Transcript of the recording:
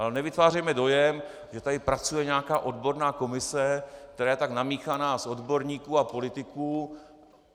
Ale nevytvářejme dojem, že tady pracuje nějaká odborná komise, která je tak namíchaná z odborníků a politiků.